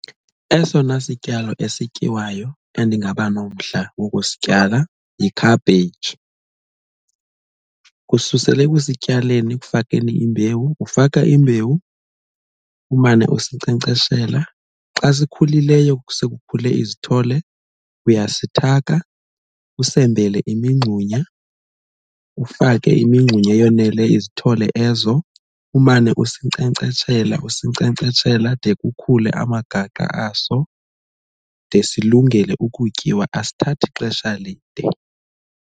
Esona sityalo esityiwayo endingaba nomdla wokusityala yi-cabbage. Kususela ekusityaleni ekufakeni imbewu, ufaka imbewu umane usinkcenkceshela xa sikhulileyo sekukhule izithole uyasithaka usembele imingxunya ufake imingxunya eyoneleyo izithole ezo umane usinkcenkcetshela usinkcenkcetshela de kukhule amagaqa aso de silungele ukutyiwa, asithathi xesha lide